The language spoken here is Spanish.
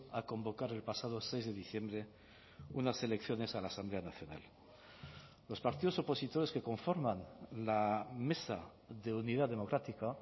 a convocar el pasado seis de diciembre unas elecciones a la asamblea nacional los partidos opositores que conforman la mesa de unidad democrática